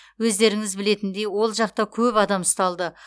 өздеріңіз білетіндей ол жақта көп адам ұсталды